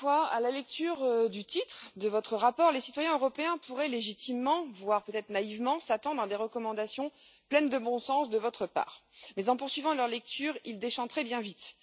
À la lecture du titre de votre rapport, les citoyens européens pourraient légitimement, voire peut être naïvement, s'attendre à des recommandations pleines de bon sens de votre part, mais en poursuivant leur lecture, ils déchanteraient bien vite.